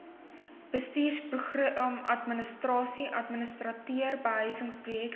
behuisingsprojekadministrasie administreer behuisingsprojekte